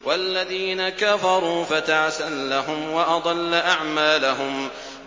وَالَّذِينَ كَفَرُوا فَتَعْسًا لَّهُمْ وَأَضَلَّ أَعْمَالَهُمْ